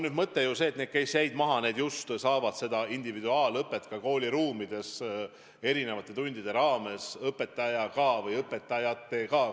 Mõte on see, et need, kes jäid maha, saavad individuaalõpet ka kooliruumides, omandades erinevate tundide teemasid koos õpetajaga või õpetajatega.